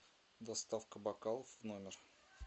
доставка бокалов в номер